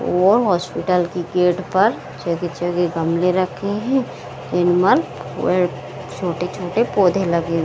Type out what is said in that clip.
और हॉस्पिटल की गेट पर गमले हें निर्मल वह छोटे-छोटे पौधे लगे --